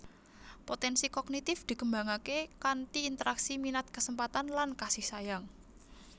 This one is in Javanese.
Potensi Kognitif dikembangake kanthi interaksi minat kesempatan lan kasih sayang